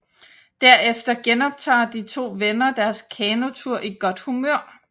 Derefter genoptager de to venner deres kanotur i godt humør